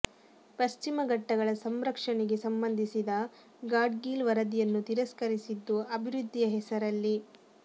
ಪಶ್ಚಿಮ ಘಟ್ಟಗಳ ಸಂರಕ್ಷಣೆಗೆ ಸಂಬಂಧಿಸಿದ ಗಾಡ್ಗೀಳ್ ವರದಿಯನ್ನು ತಿರಸ್ಕರಿಸಿದ್ದು ಅಭಿವೃದ್ಧಿಯ ಹೆಸರಲ್ಲಿ